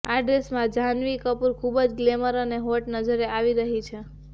આ ડ્રેસમાં જ્હાનવી કપૂર ખબૂજ ગ્લેમરલ અને હોટ નજરે આવી રહી છે